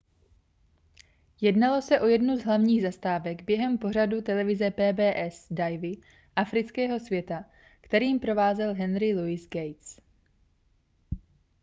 jednalo se o jednu z hlavních zastávek během pořadu televize pbs divy afrického světa kterým provázel henry luis gates